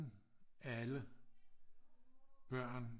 Alle børn